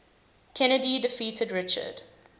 kenny defeated richard